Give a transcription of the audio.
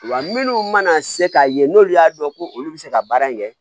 Wa minnu mana se k'a ye n'olu y'a dɔn ko olu bɛ se ka baara in kɛ